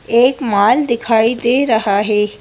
एक माल दिखाई दे रहा हैं।